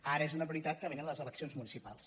ara és una prioritat que vénen les elec·cions municipals